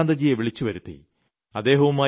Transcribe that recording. ഞാൻ ചന്ദ്രകാന്തജിയെ വിളിച്ചുവരുത്തി